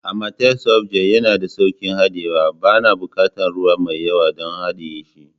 Amatel soft gel yana da sauƙin haɗiye, bana buƙatar ruwa mai yawa don haɗiye shi.